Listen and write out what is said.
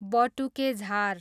बटुके झार